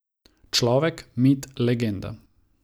Človek, mit, legenda.